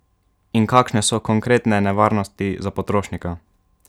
In kakšne so konkretne nevarnosti za potrošnika?